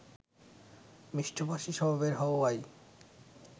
মিষ্টভাষী স্বভাবের হওয়ায়